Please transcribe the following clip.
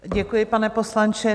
Děkuji, pane poslanče.